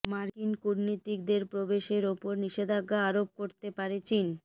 মার্কিন কূটনীতিকদের প্রবেশের ওপর নিষেধাজ্ঞা আরোপ করতে পারে চীন